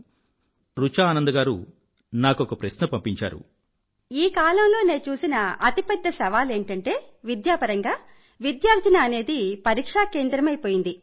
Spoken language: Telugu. ఎవరో రుచా ఆనంద్ గారు నాకొక ప్రశ్న పంపించారు ఈ కాలంలో విద్యాపరంగా నే చూసే అతిపెద్ద సవాలు ఏమిటంటే విద్యార్జన అనేది పరీక్షా కేంద్రితమైపోయింది